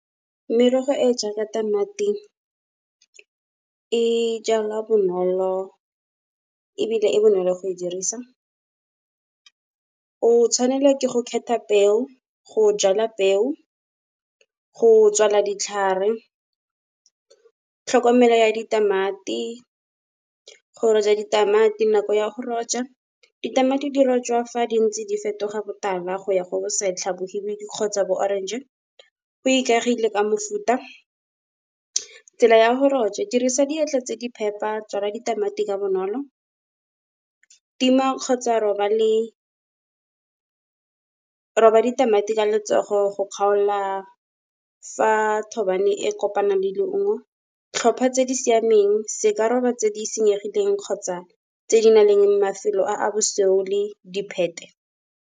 Merogo e jaaka tamati e jalwa bonolo ebile e bonolo go e dirisa. O tshwanela ke go kgetha peo go jala peo, go tswala ditlhare, tlhokomelo ya ditamati, go roja ditamati nako ya go roja. Ditamati di rojwa fa di ntse di fetoga botala go ya go bosetlha mohibidu kgotsa bo orange. Go ikaegile ka mofuta, tsela ya go roja dirisa diatla tse di phepa tswala ditamati ka bonolo, tima kgotsa roba ditamati ka letsogo go kgaola fa thobane e kopanang le leungo. Tlhopha tse di siameng se ka roba tse di senyegileng kgotsa tse di nang le mafelo a a bosweu le diphete.